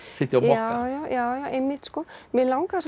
sitja á mokka já já einmitt mig langaði